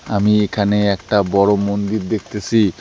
আমি এখানে একটা বড়ো মন্দির দেখতেসি।